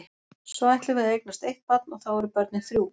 Svo ætlum við að eignast eitt barn og þá eru börnin þrjú.